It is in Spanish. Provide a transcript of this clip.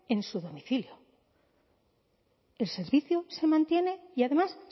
en su domicilio el servicio se mantiene y además